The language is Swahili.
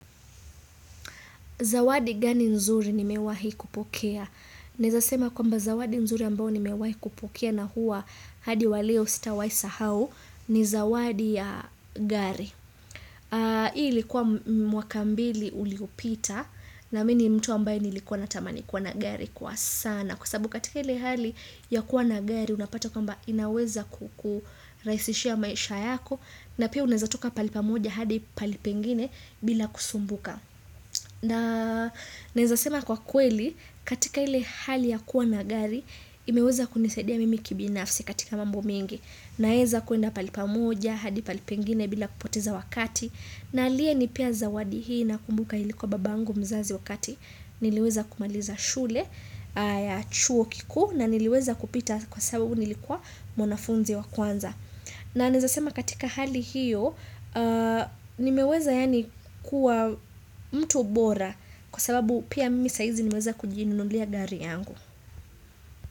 Zawadi gani nzuri nimewahi kupokea? Naweza sema kwamba zawadi nzuri ambayo nimewahi kupokea na huwa hadi wa leo sitawahi sahau ni zawadi ya gari. Hii ilikuwa mwaka mbili uliopita na mimi ni mtu ambaye nilikuwa natamani kuwa na gari kwa sana. Kwa sababu katika ile hali ya kuwa na gari unapata kwamba inaweza kukurahisishia maisha yako. Na pia unaweza toka pahali pamoja hadi pahali pengine bila kusumbuka. Na naweza sema kwa kweli katika ile hali ya kuwa na gari imeweza kunisadia mimi kibinafsi katika mambo mengi. Naweza kwenda pahali pamoja hadi pahali pengine bila kupoteza wakati. Na aliyenipea zawadi hii nakumbuka ilikuwa babangu mzazi wakati Niliweza kumaliza shule ya chuo kikuu na niliweza kupita kwa sababu nilikuwa mwanafunzi wa kwanza na naweza sema katika hali hiyo, nimeweza yaani kuwa mtu bora kwa sababu pia mimi saa hizi nimeweza kujinunulia gari yangu.